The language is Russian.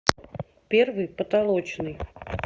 первый потолочный